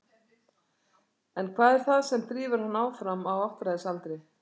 En hvað er það sem drífur hann áfram á áttræðisaldri?